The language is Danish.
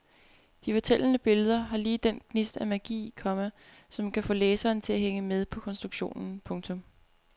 De fortællende billeder har lige den gnist af magi, komma som kan få læseren til at hænge med på konstruktionen. punktum